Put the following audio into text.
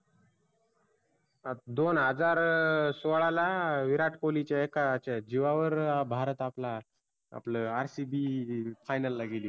दोन हजार सोळाला विरात कोल्हीच्या एका च्या जिवा वर भारत आपला आपल RCB final ला गेली होती.